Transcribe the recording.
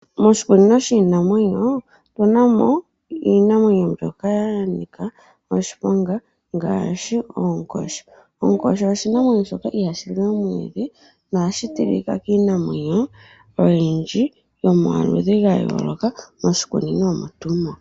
Moshikunino shiinamwenyo otu na mo iinamwenyo mbyoka ya nika oshiponga ngaashi oonkoshi. Onkoshi oshinamwenyo shoka ihashi li omwiidhi nohashi tilika kiinamwenyo oyindji yomaludhi ga yooloka moshikunino omo tuu mo.